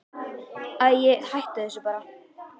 Æi, hættu þessu bara.